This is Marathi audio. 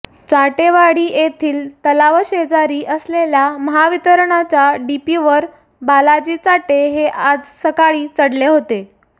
चाटेवाडी येथील तलावाशेजारी असलेल्या महावितरणच्या डीपीवर बालाजी चाटे हे आज सकाळी चढले होते